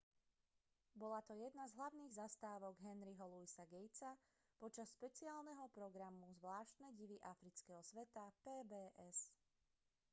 bola to jedna z hlavných zastávok henryho louisa gatesa počas špeciálneho programu zvláštne divy afrického sveta pbs